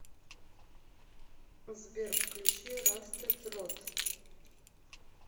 сбер включи растед рут